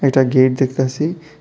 একটা গেট দেখতাসি।